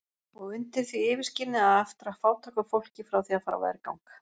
Og undir því yfirskini að aftra fátæku fólki frá því að fara á vergang!